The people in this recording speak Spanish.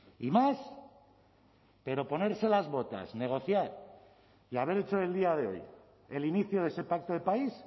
y más pero ponerse las botas negociar y haber hecho del día de hoy el inicio de ese pacto de país